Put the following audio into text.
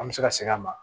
An bɛ se ka segin a ma